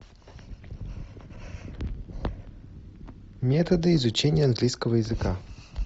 методы изучения английского языка